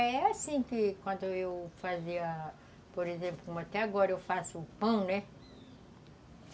É assim que quando eu fazia, por exemplo, como até agora eu faço o pão, né?